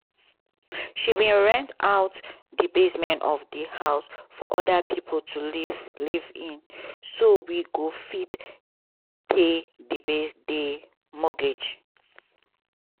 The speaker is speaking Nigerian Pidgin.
she bin rent out di basement of di house for oda pipo to live live in so we go fit pay di mortgage.